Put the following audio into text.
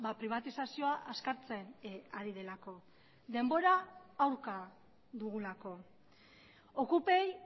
pribatizazioa azkartzen ari delako denbora aurka dugulako okupei